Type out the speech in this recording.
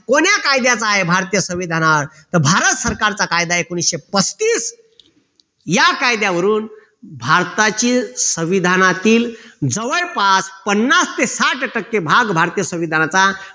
कोण्या कायद्याचा आहे भारतीय संविधानावर तर भारत सरकारचा कायदा एकोणीशे पस्तीस या कायद्यावरून भारताचे संविधानातील जवळपास पन्नास ते साठ टक्के भाग भारतीय संविधानाचा